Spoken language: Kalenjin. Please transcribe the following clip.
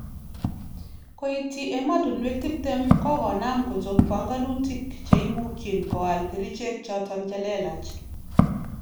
Koityi emotunwek 20 kokonam kochop panganutik cheimukyin koal kerichek choton chelelach